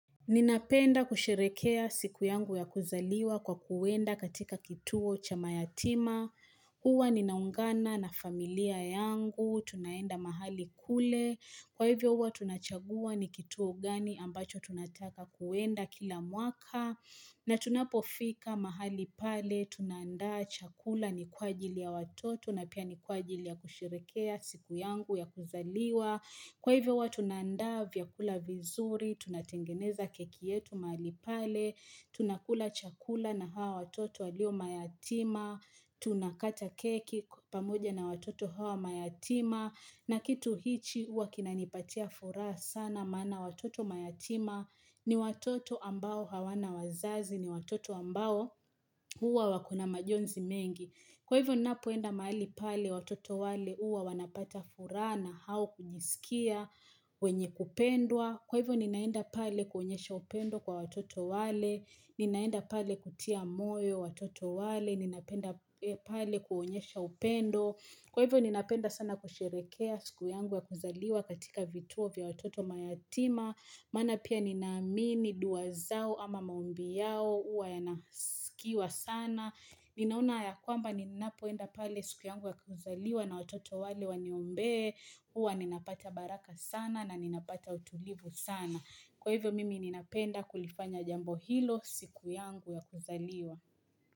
Ninapenda kusherehekea siku yangu ya kuzaliwa kwa kuenda katika kituo cha mayatima, huwa ninaungana na familia yangu, tunaenda mahali kule, kwa hivyo huwa tunachagua ni kituo gani ambacho tunataka kuenda kila mwaka, na tunapofika mahali pale, tunaandaa chakula ni kwa ajili ya watoto, na pia ni kwa ajili ya kusherehekea siku yangu ya kuzaliwa Kwa hivyo huwa tunaandaa vyakula vizuri, tunatengeneza keki yetu mahali pale, tunakula chakula na hawa watoto walio mayatima, tunakata keki pamoja na watoto hawa mayatima, na kitu hichi huwa kinanipatia furaha sana maana watoto mayatima ni watoto ambao hawana wazazi, ni watoto ambao huwa wako na majonzi mengi. Kwa hivyo ninapoenda mahali pale watoto wale huwa wanapata furaha na hao kujiskia wenye kupendwa Kwa hivyo ninaenda pale kuonyesha upendo kwa watoto wale Ninaenda pale kutia moyo watoto wale Ninaenda pale kuonyesha upendo Kwa hivyo ninapenda sana kusherehekea siku yangu ya kuzaliwa katika vituo vya watoto mayatima Maana pia ninaamini dua zao ama maombi yao huwa yanasikiwa sana Ninaona ya kwamba ninapoenda pale siku yangu ya kuzaliwa na watoto wale waniombee huwa ninapata baraka sana na ninapata utulivu sana Kwa hivyo mimi ninapenda kulifanya jambo hilo siku yangu ya kuzaliwa.